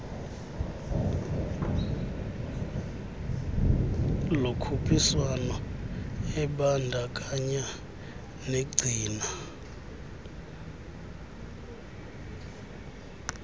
lokhuphiswano ebandakanya negcina